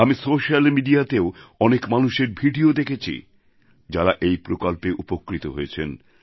আমি সোশ্যাল মিডিয়াতেও অনেক মানুষের ভিডিও দেখেছি যাঁরা এই প্রকল্পে উপকৃত হয়েছেন